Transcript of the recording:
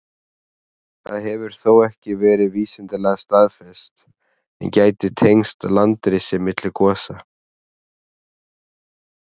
Það hefur þó ekki verið vísindalega staðfest, en gæti tengst landrisi milli gosa.